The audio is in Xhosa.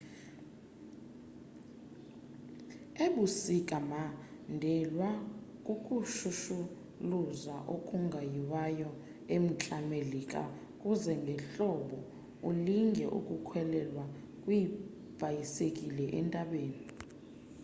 ebusika mandelwa kukushushuluza okungoyiwayo e-mntla melika kuze ngehlobo ulinge ukukhwelwa kweebhayisekile entabeni